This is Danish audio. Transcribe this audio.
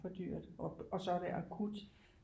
For dyrt og så er det akut